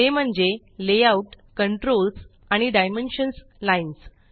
ते म्हणजे layout controls आणि डायमेन्शन्स लाईन्स